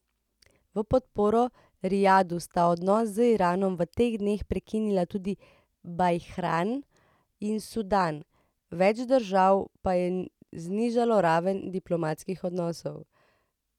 V podporo Rijadu sta odnose z Iranom v teh dneh prekinila tudi Bahrajn in Sudan, več držav pa je znižalo raven diplomatskih odnosov.